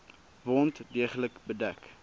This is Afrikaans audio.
wond deeglik bedek